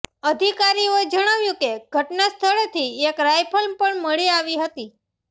અધિકારીઓએ જણાવ્યું કે ઘટના સ્થળેથી એક રાઇફલ પણ મળી આવી હતી